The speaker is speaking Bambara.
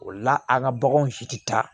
O la an ka baganw si tɛ taa